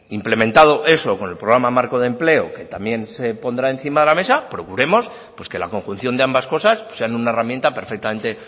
implementado eso con el programa marco de empleo que también se podrá encima de mesa procuremos pues que la conjunción de ambas cosas sean una herramienta perfectamente